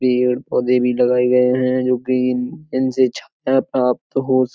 पेड़ पौधे भी लगाये गए हैं जो कि इनसे छाया प्राप्त हो स --